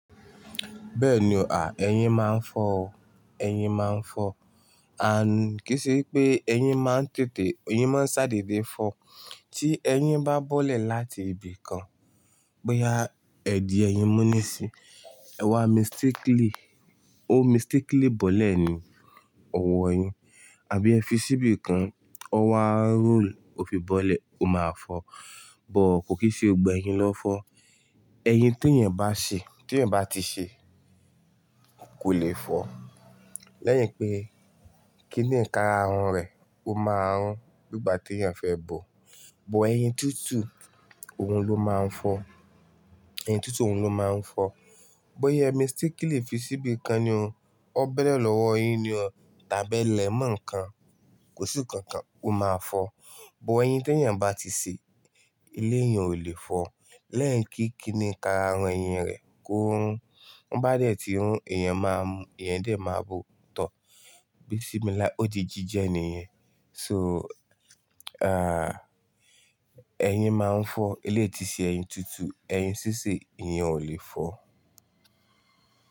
Bẹ́ẹ̀ ni, à, ẹyin máa ń fọ́ o, ẹyin máa ń fọ́. Àń, kí í ṣẹ pé ẹyin máa ń tètè, ẹyin máa ń ṣádé dé fọ́. Tí ẹyin bá bọ́lẹ̀ láti ibi kan, bóyá ẹ̀dì ẹyin mú ní sí, ẹwà mistakili o mistakili bọ́lẹ̀ ní ọwọ́ ẹyin, àbí ẹ fi síbi kan, ọwọ́ a rolu, ó fi bọ́lẹ̀, ó máa fọ́. Bọ̀ọ̀ kò kì í ṣe ọgbà ẹyin lọ́ fọ́. Ẹyin tó èèyàn bá ṣe, tí èèyàn bá ti ṣe, kò lè fọ́. Lẹ́yìn pé kíni ǹkan ara rẹ̀, ó máa run nígbà tí èèyàn fẹ́ bo. Bọ̀ ẹyin tútù, òun ló máa ń fọ́. Ẹyin tútù, òun ló máa ń fọ́. Bóyá ẹ mistakili fi síbi kan ni o, ó bẹ̀lẹ̀ lọ́wọ́ yin ni o, tàbí ẹ lẹ̀ mọ́ ǹkan, kò sí nǹkan kan, ó máa fọ́. Bọ̀ ẹyin tó èèyàn bá ti ṣe, ilé èèyàn ò lè fọ́. Lẹ́yìn kí kíni ǹkan ara ẹyin rẹ̀ kó run. Ó bá dẹ̀ tí run, èèyàn máa ń, èèyàn díẹ̀ máa bo ọ̀tọ̀. Bísimilahi, ó di jíjẹ ni ìyẹn. So, à, ẹyin máa ń fọ́. Elé tíí ṣe ẹyin tútù, ẹyin sísè, iyen ò lè fọ́